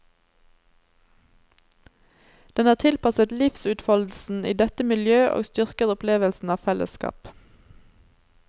Den er tilpasset livsutfoldelsen i dette miljø og styrker opplevelsen av fellesskap.